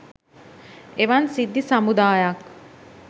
එවන් සිද්ධි සමුදායක්